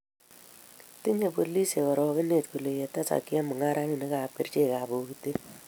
tinyei polisiek arokonet kole tesak chemung'arenikab kerchekab pokitet.